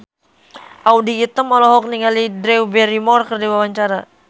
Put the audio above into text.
Audy Item olohok ningali Drew Barrymore keur diwawancara